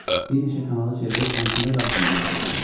Bir neçə kanalı çevirib hansında qalsın deyə soruşdum.